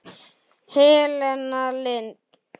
Helena Lind.